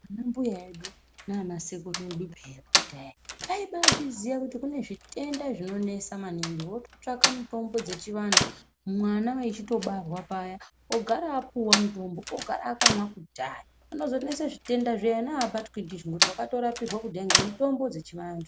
Anambuya edu naanasekuru edu pheya kudhaya aibaazviziya kuti kune zvitenda zvinonesa maningi, vototsvaka mitombo dzechivantu. Mwana echitobarwa paya ogara apuwa mutombo ogara akamwa kudhaya, panonozonesa zvitenda zviya ena aabatwi ndizvo ngekuti wakatorapirwa kudhaya ngemitombo dzechivanhu .